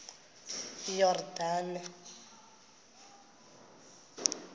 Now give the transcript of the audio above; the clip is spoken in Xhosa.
yordane